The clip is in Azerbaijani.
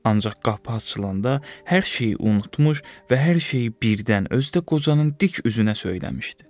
Ancaq qapı açılanda hər şeyi unutmuş və hər şeyi birdən, özü də qocanın dik üzünə söyləmişdi.